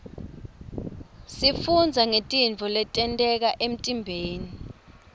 sifundza ngetintfo letenteka emtimbeni